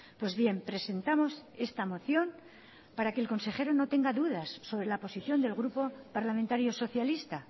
pues bien presentamos esta moción para que el consejero no tenga dudas sobre la posición del grupo parlamentario socialista